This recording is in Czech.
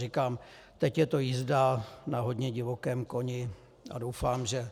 Říkám, teď je to jízda na hodně divokém koni a doufám, že